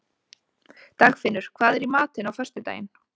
Dagfinnur, hvað er í matinn á föstudaginn?